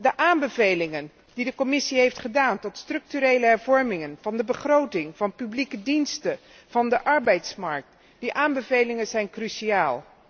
De aanbevelingen die de Commissie heeft gedaan voor structurele hervormingen van de begroting van publieke diensten, van de arbeidsmarkt, zijn cruciaal.